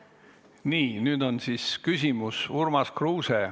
Nii, nüüd on küsimus Urmas Kruusel.